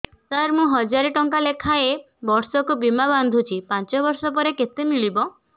ସାର ମୁଁ ହଜାରେ ଟଂକା ଲେଖାଏଁ ବର୍ଷକୁ ବୀମା ବାଂଧୁଛି ପାଞ୍ଚ ବର୍ଷ ପରେ କେତେ ମିଳିବ